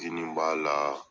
Kini b'a la,